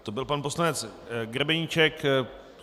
To byl pan poslanec Grebeníček.